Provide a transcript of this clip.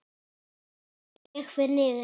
Ég fer niður.